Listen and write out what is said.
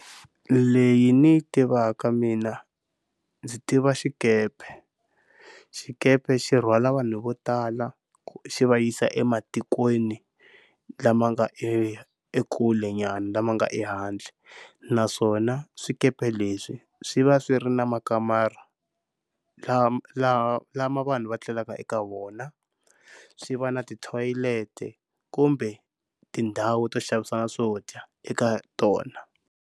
Leyi ni yi tivaka mina ndzi tiva xikepe, xikepe xi rhwala vanhu vo tala xi va yisa ematikweni lama nga e ekulenyana lama nga ehandle. Naswona swikepe leswi swi va swi ri na makamara laha, lama lama vanhu va tlelaka eka vona swi va na tithoyileti kumbe tindhawu to xavisana swo dya eka tona.